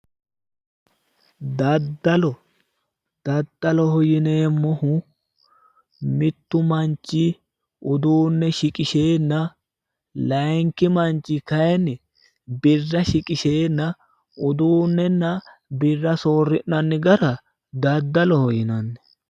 Daddalo, daddaloho yineemmohu mittu manchi uduunne shiqisheenna layiinki manchi kayiinni birra shiqisheenna uduunnenna birra soori'nanni gara daddaloho yinanni.